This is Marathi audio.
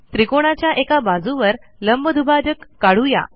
त्रिकोणाच्या एका बाजूवर लंबदुभाजक काढू या